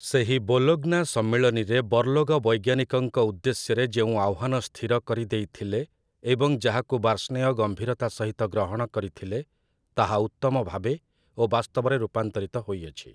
ସେହି ବୋଲୋଗ୍ନା ସମ୍ମିଳନୀରେ ବର୍ଲୋଗ ବୈଜ୍ଞାନିକଙ୍କ ଉଦ୍ଦେଶ୍ୟରେ ଯେଉଁ ଆହ୍ଵାନ ସ୍ଥିର କରିଦେଇଥିଲେ, ଏବଂ ଯାହାକୁ ବାର୍ଷ୍ଣେୟ ଗମ୍ଭୀରତା ସହିତ ଗ୍ରହଣ କରିଥିଲେ, ତାହା ଉତ୍ତମଭାବେ ଓ ବାସ୍ତବରେ ରୂପାନ୍ତରିତ ହୋଇଅଛି ।